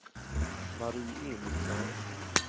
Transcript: Marie Emilsson